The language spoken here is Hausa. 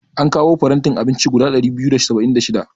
An kawo farantin abinci guda ɗari biyu da saba'in da shida.